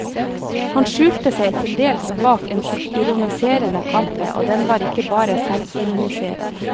Han skjulte seg til dels bak en ironiserende kappe, og den var ikke bare selvironiserende.